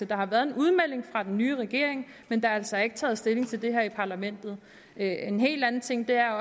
der har været en udmelding fra den nye regering men der er altså ikke taget stilling til det her i parlamentet en helt anden ting er